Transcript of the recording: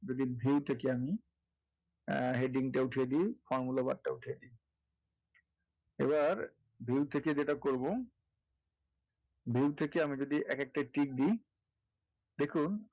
যদি V থেকে আমি heading টা উঠিয়ে দেই formula bar টা উঠিয়ে দেই এবার V থেকে যেটা করবো view থেকে আমি যদি এক একটা tick দেই দেখুন,